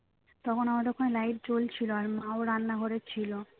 তখন আমাদের ওখানে light জ্বলছিল আর মা ও রান্নাঘরে ছিল